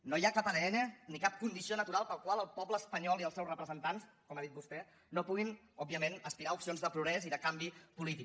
no hi ha cap adn ni cap condició natural per la qual el poble espanyol i els seus representants com ha dit vostè no puguin òbvia ment aspirar a opcions de progrés i de canvi polític